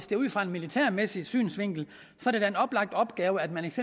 det ud fra en militærmæssig synsvinkel er en oplagt opgave at man